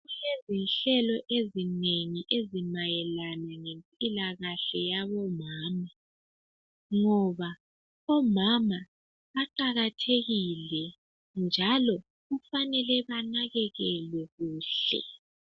Yinhlelo ezinengi ezimayelana lempilakahle yabomama ngoba omama baqakathekile njalo kufanele banakekelelwe kuhle.